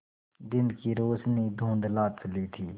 दिन की रोशनी धुँधला चली थी